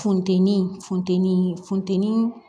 Funteni funteni funtɛni